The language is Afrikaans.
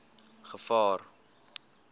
gevaar